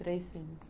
Três filhos.